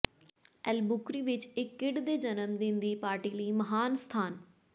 Albuquerque ਵਿੱਚ ਇੱਕ kid ਦੇ ਜਨਮਦਿਨ ਦੀ ਪਾਰਟੀ ਲਈ ਮਹਾਨ ਸਥਾਨ